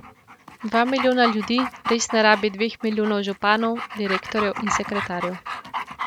Dva milijona ljudi res ne rabi dveh milijonov županov, direktorjev in sekretarjev.